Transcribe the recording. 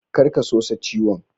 Kar ka sosa ciwon.